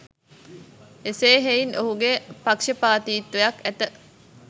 එසේ හෙයින් ඔහුගේ පක්ෂපාතීත්වයක් ඇත